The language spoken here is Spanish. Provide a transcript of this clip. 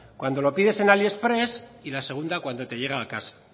cuando lo pides en aliexpress y la segunda cuando te llega a casa